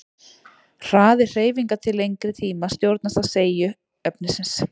Hraði hreyfinga til lengri tíma stjórnast af seigju efnisins.